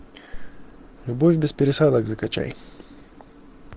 любовь без пересадок закачай